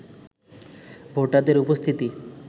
ভোটারদের উপস্থিতি